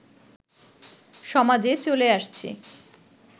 সমাজে চলে আসছে